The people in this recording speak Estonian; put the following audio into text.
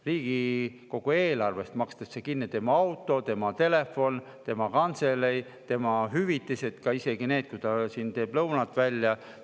Riigikogu eelarvest makstakse kinni tema auto, tema telefon, tema kantseleis, tema hüvitised, isegi see, kui ta siin teeb lõunat välja.